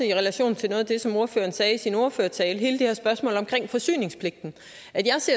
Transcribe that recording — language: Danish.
i relation til noget af det som ordføreren sagde i sin ordførertale om hele det her spørgsmål om forsyningspligten